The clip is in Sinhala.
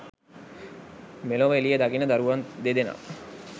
මෙළොව එළිය දකින දරුවන් දෙදෙනා